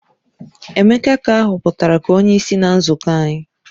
Emeka ka a hoputara ka onyeisi na nzuko anyi